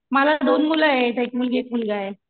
मला दोन मुलं आहेत एक मुलगी एक मुलगा आहे.